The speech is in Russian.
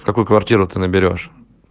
в какую квартиру ты наберёшь